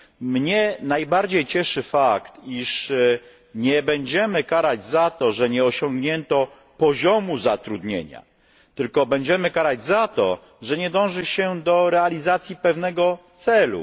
Mnie najbardziej cieszy fakt, iż nie będziemy karać za to, że nie osiągnięto poziomu zatrudnienia, tylko będziemy karać za to, że nie dąży się do realizacji pewnego celu.